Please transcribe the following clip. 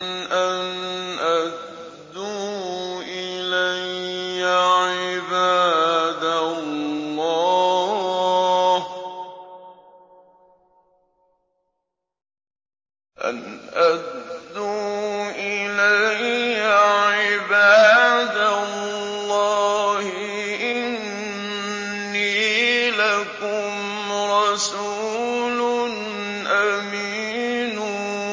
أَنْ أَدُّوا إِلَيَّ عِبَادَ اللَّهِ ۖ إِنِّي لَكُمْ رَسُولٌ أَمِينٌ